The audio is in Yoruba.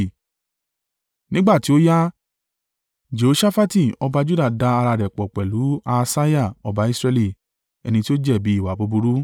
Nígbà tí ó yá, Jehoṣafati ọba Juda da ara rẹ̀ pọ̀ pẹ̀lú Ahasiah, ọba Israẹli, ẹni tí ó jẹ̀bi ìwà búburú.